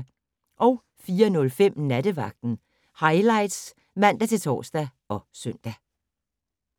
04:05: Nattevagten Highlights (man-tor og søn)